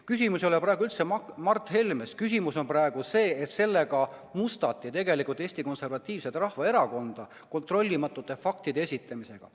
Küsimus ei ole praegu üldse Mart Helmes, küsimus on praegu selles, et mustati tegelikult Eesti Konservatiivset Rahvaerakonda – kontrollimata faktide esitamisega.